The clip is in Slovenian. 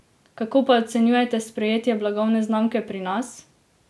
Kako pa ocenjujete sprejetje blagovne znamke pri nas?